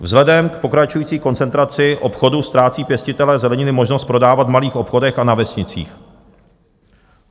Vzhledem k pokračující koncentraci obchodu ztrácí pěstitelé zeleniny možnost prodávat v malých obchodech a na vesnicích.